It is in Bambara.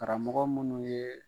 Karamɔgɔ minnu ye